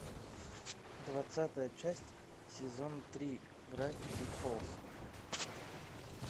двадцатая часть сезон три гравити фолз